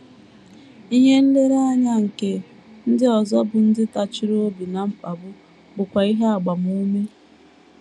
Ihe nlereanya nke ndị ọzọ bụ́ ndị tachiri obi ná mkpagbu bụkwa ihe agbamume.